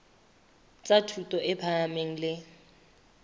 tsa thuto e phahameng le